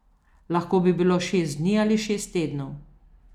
Lahko bi bilo šest dni ali šest tednov.